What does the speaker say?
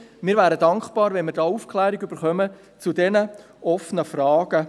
Wir wären dankbar für eine Aufklärung zu diesen offenen Fragen.